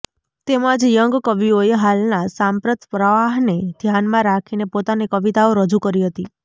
તેમજ યંગ કવિઓએ હાલના સાંપ્રત પ્રવાહને ધ્યાનમાં રાખીને પોતાની કવિતાઓ રજૂ કરી હતી